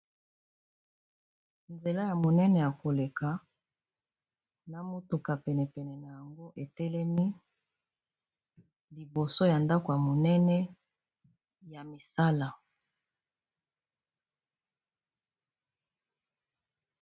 Awa namoni balakisi biso Nzela ya monene ya koleka na motuka penepene na yango etelemi liboso ya ndako ya monene ya misala